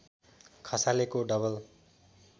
खसालेको double